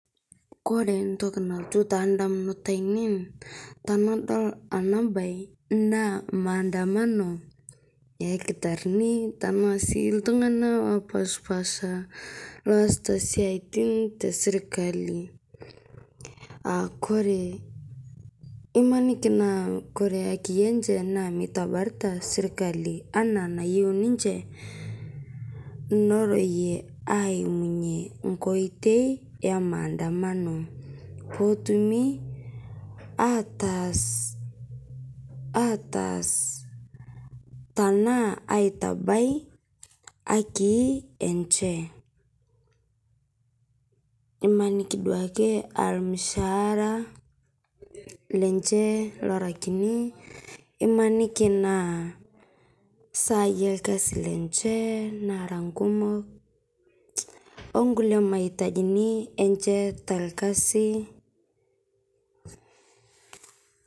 Ore entoki nalotu edamunot ainei tenadol ena mbae naa mandamano oo ildakitarini tenaa sii iltung'ana opashipasha losita siatin tee sirkali ore emaniki naa hakii mitabarito sirkali enaa enayiou ninje ning'orunye eyimunye enkoitoi emandamano petumi ataas tenaa aitabai hakii hakii enye nimaniki ake duake aa ormushara lenye nimaniki naa sai orkasi lenye nara kumok onkulie maitaji enye torkasi